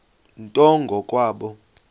nto ngo kwabo